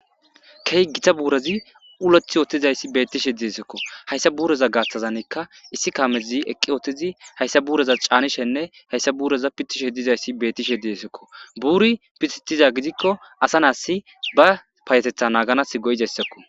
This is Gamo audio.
Keh gita buurozi uleth ootizayssi beettishe diesekko hayssa buuroza gaaththazanekka issi kaamezi eqqi ootizi hayssa buuroza caanishenne hayssa buuroza pitishe dizayssi bettishe diesekko buuri pititiza gidikko asa naassi ba payetetha naaganas goyidayssakko.